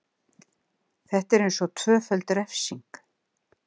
Þetta er eins og tvöföld refsing.